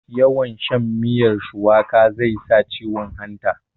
yawn shan miyar shuwaka zai sa ciwon hanta